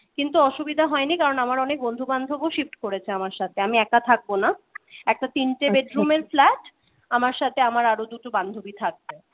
কিন্তু অসুবিধা হয়নি কারণ আমার অনেক বন্ধু-বান্ধব ও shift করেছে আমার সাথে আমি একা থাকবো না একটা তিনটে bedroom র flat আমার সাথে আমার আরো দুটো বান্ধবী থাকবে